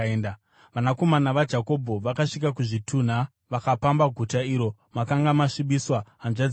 Vanakomana vaJakobho vakasvika kuzvitunha vakapamba guta iro makanga masvibiswa hanzvadzi yavo.